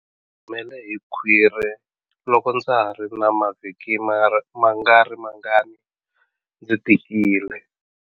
Humele hi khwiri loko ndza ha ri na mavhiki mangarimangani ndzi tikile.